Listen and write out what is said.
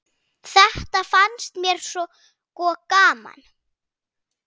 Þetta fannst mér sko gaman.